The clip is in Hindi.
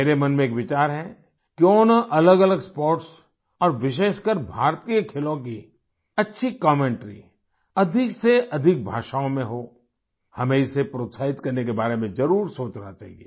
मेरे मन में एक विचार है क्यों न अलगअलग स्पोर्ट्स और विशेषकर भारतीय खेलों की अच्छी कमेंटरी अधिक से अधिक भाषाओं में हो हमें इसे प्रोत्साहित करने के बारे में जरूर सोचना चाहिए